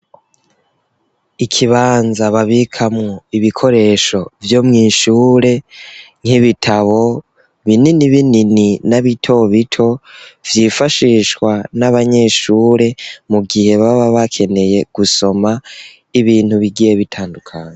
Ikibanza babikamwo ibikoresho vyo mw'ishure nki bitabo binini binini n'abitobito vyifashishwa n'abanyeshuri mu gihe baba bakeneye gusoma ibintu bigiye bitandukanye.